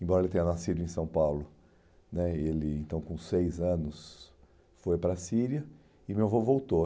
Embora ele tenha nascido em São Paulo né, e ele então com seis anos foi para a Síria e meu avô voltou.